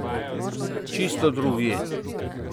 Čisto drugje.